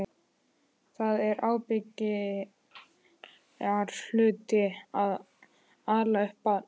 Það er ábyrgðarhluti að ala upp barn.